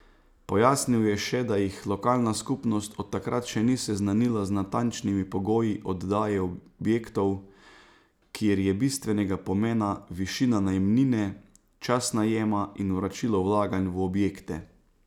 Pojasnil je še, da jih lokalna skupnost od takrat še ni seznanila z natančnimi pogoji oddaje objektov, kjer je bistvenega pomena višina najemnine, čas najema in vračilo vlaganj v objekte.